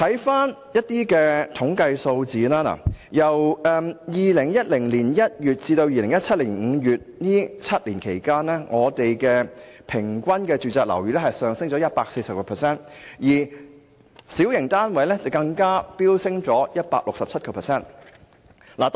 翻看相關統計數字，在2010年1月至2017年5月這7年間，香港的住宇物業價格平均上升了 140%， 小型單位的樓價更飆升 167%。